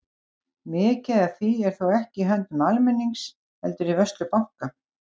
Mikið af því er þó ekki í höndum almennings heldur í vörslu banka.